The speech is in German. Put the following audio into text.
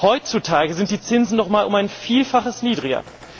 Heutzutage sind die Zinsen noch einmal um ein Vielfaches niedriger.